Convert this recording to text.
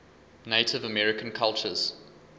native american cultures